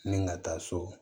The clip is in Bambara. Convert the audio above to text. Ni ka taa so